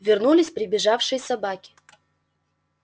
вернулись прибежавшие собаки